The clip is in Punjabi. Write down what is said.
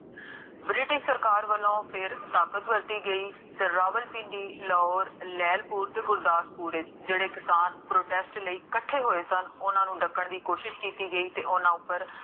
british ਸਰਕਾਰ ਵੱਲੋਂ, ਫੇਰ ਤਾਕਤ ਵਰਤੀ ਗਈ ਤੇ ਰਾਵਲਭਿੰਡੀ, ਲਾਹੋਰ, ਰੇਲਭਿੰਡੀ ਤੇ ਗੁਰਦਾਸਪੁਰ ਵਿਚ ਜੇਹੜੇ ਕਿਸਾਨ protest ਲਈ ਕਠੇ ਹੋਏ ਸਨ, ਓਨਾ ਨੂੰ ਢਕਨ ਦੀ ਕੋਸ਼ਿਸ਼ ਕੀਤੀ ਗਈ ਤੇ ਓਨਾ ਉਪਰ